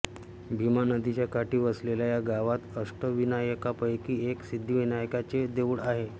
भीमा नदीच्या काठी वसलेल्या या गावात अष्टविनायकांपैकी एक सिद्धविनायकाचे देऊळ आहे